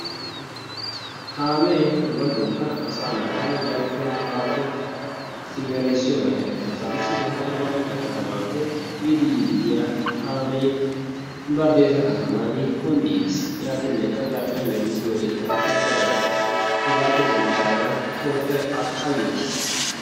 kaamee ubatookka asaa naata ubatookka yappe haappe simeressiyogan eretiis, issitoo arbaamincce katamaappe biidi yiidi diya kaame badeesa kataman kundiis yaatinnekka zarphiyan geliigiyoorinkka asay daroy hayqqiis. hegaappe denddidaagan toophee kayyottiis.